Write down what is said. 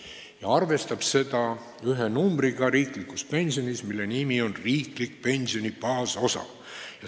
Ja see arvestab seda ühe numbriga riiklikus pensionis, mille nimi on riikliku pensioni baasosa.